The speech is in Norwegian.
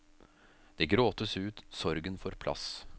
Det gråtes ut, sorgen får plass.